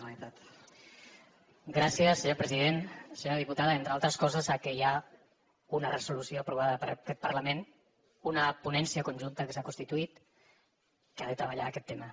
senyora diputada entre altres coses sap que hi ha una resolució aprovada per aquest parlament una ponència conjunta que s’ha constituït que ha de treballar aquest tema